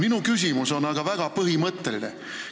Minu küsimus on aga väga põhimõtteline.